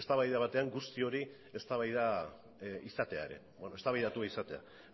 eztabaida batean guzti hori eztabaidatua izatea ere